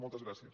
moltes gràcies